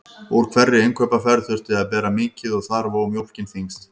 Úr hverri innkaupaferð þurfti að bera mikið og þar vó mjólkin þyngst.